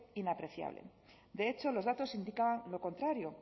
inapreciable de hecho los datos indican lo contrario